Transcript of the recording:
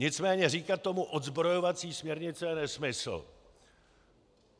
Nicméně říkat tomu odzbrojovací směrnice je nesmysl.